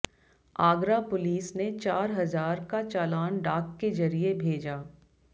Agra police ने चार हजार का चालान डाक के जरिए भेजा